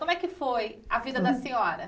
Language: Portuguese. Como é que foi a vida da senhora?